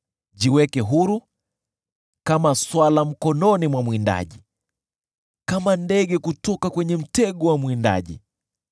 Jiweke huru, kama swala mkononi mwa mwindaji, kama ndege kutoka kwenye mtego wa mwindaji.